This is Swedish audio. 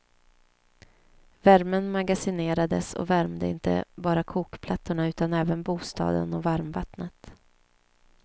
Värmen magasinerades och värmde inte bara kokplattorna utan även bostaden och varmvattnet.